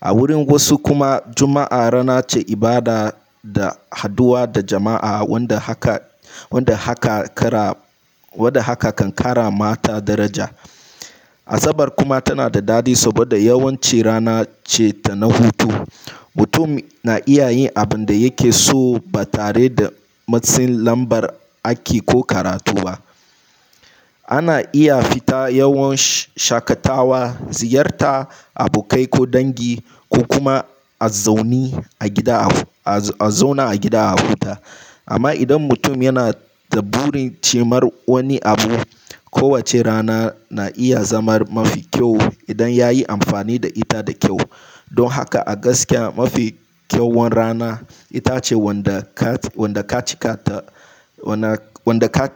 A wurin wasu kuma Juma'a rana ce ibada da haduwa da jama'a wanda haka kan ƙarama mata daraja. Asabar kuma tana da dadi saboda yawanci rana ce na hutu. Mutum na iya yin abin da yake so ba tare da matsin lambar aiki ko karatu ba. Ana iya fita yawon shakatawa, ziyarta abokai ko dangi ko kuma. A zauna a gida a huta. Amma idan mutum yana da burin cimar wani abu, kowace rana na iya zama mafi kyau idan ya yi amfani da ita da kyau. Don haka a gaskiya mafi kyawun rana ita ce wadda ka